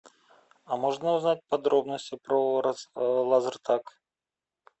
а можно узнать подробности про лазертаг